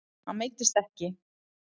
Hann meiddist ekki.